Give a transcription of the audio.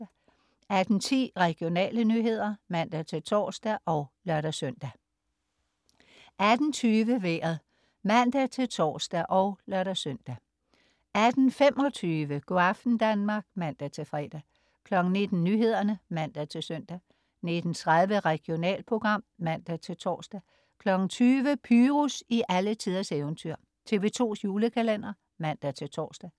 18.10 Regionale nyheder (man-tors og lør-søn) 18.20 Vejret (man-tors og lør-søn) 18.25 Go' aften Danmark (man-fre) 19.00 Nyhederne (man-søn) 19.30 Regionalprogram (man-tors) 20.00 Pyrus i alletiders eventyr. TV2's julekalender (man-tors)